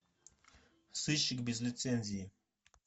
сыщик без лицензии